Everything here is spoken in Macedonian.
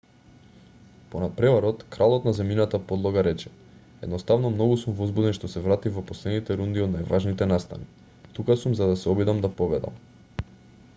по натпреварот кралот на земјината подлога рече едноставно многу сум возбуден што се вратив во последните рунди од најважните настани тука сум за да се обидам да победам